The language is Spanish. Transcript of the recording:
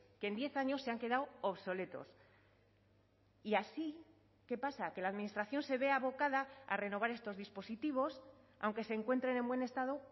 que en diez años se han quedado obsoletos y así qué pasa que la administración se ve abocada a renovar estos dispositivos aunque se encuentren en buen estado